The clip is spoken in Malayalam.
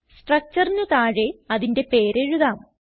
structureന് താഴെ അതിന്റെ പേര് എഴുതാം